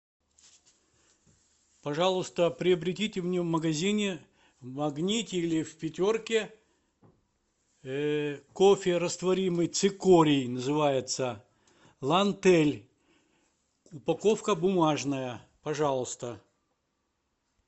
пожалуйста приобретите мне в магазине в магните или в пятерке кофе растворимый цикорий называется лантэль упаковка бумажная пожалуйста